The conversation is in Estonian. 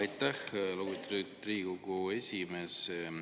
Aitäh, lugupeetud Riigikogu esimees!